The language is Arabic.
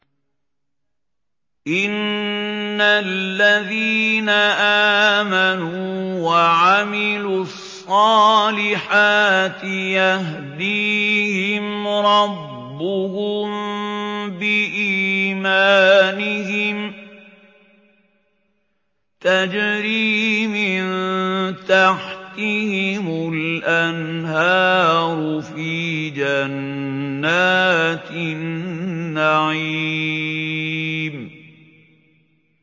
إِنَّ الَّذِينَ آمَنُوا وَعَمِلُوا الصَّالِحَاتِ يَهْدِيهِمْ رَبُّهُم بِإِيمَانِهِمْ ۖ تَجْرِي مِن تَحْتِهِمُ الْأَنْهَارُ فِي جَنَّاتِ النَّعِيمِ